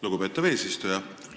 Lugupeetav eesistuja!